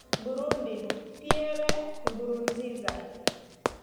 Burundi:Pierre Nkurunziza.